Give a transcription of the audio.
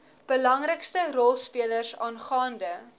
belangrikste rolspelers aangaande